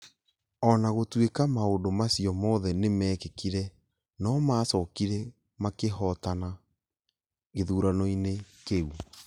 O na gũtuĩka maũndũ macio mothe nĩ meekĩkire, no maacokire makĩhootana gĩthurano-inĩ kĩu